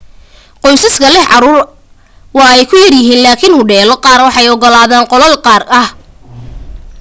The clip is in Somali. qoysaska leh caruur waa ay ku yar yahiin laakin hodheelo qaar way u ogolaadaan qolal gaar ah